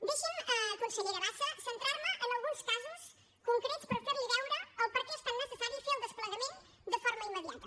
deixi’m consellera bassa centrar me en alguns casos concrets per fer li veure el perquè és tan necessari fer el desplegament de forma immediata